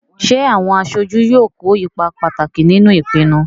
Ṣé àwọn aṣojú yóò kó ipa pàtàkì nínú ìpinnu?